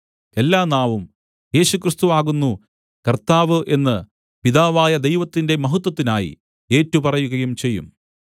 എല്ലാ നാവും യേശുക്രിസ്തു ആകുന്നു കർത്താവ് എന്ന് പിതാവായ ദൈവത്തിന്റെ മഹത്വത്തിനായി ഏറ്റുപറയുകയും ചെയ്യും